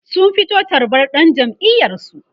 sun fito tarbar dan jam'iyar su